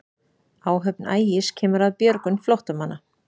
Áhöfn Ægis kemur að björgun flóttamanna